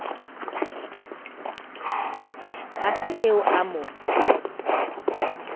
ha se eo a mo